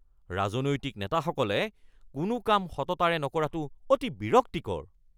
ৰাজনৈতিক নেতাসকলে কোনো কাম সততাৰে নকৰাটো অতি বিৰক্তিকৰ